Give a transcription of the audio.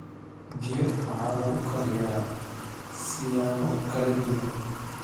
Biyo waxaa lagu kariyaa siyaabo kala duwan.